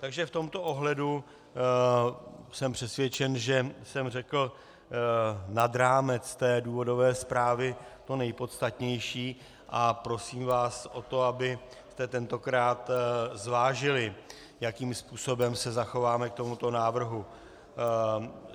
Takže v tomto ohledu jsem přesvědčen, že jsem řekl nad rámec důvodové zprávy to nejpodstatnější, a prosím vás o to, abyste tentokrát zvážili, jakým způsobem se zachováme k tomuto návrhu.